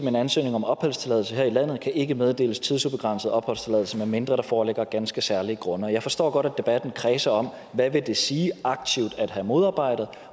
en ansøgning om opholdstilladelse her i landet kan ikke meddeles tidsubegrænset opholdstilladelse medmindre der foreligger ganske særlige grunde jeg forstår godt at debatten kredser om hvad det vil sige aktivt at have modarbejdet